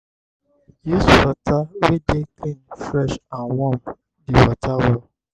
use water wey dey clean fresh and warm di water well